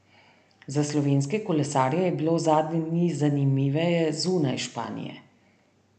Za slovenske kolesarje je bilo zadnje dni zanimiveje zunaj Španije.